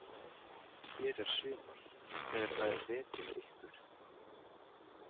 Hér er sumar þegar það er vetur hjá ykkur.